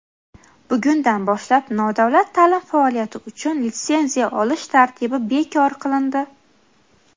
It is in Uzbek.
Bugundan boshlab nodavlat taʼlim faoliyati uchun litsenziya olish tartibi bekor qilindi:.